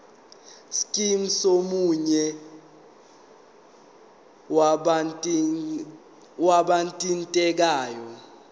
scheme somunye wabathintekayo